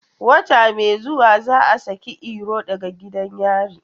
Wata mai zuwa za a saki Iro daga gidan yari.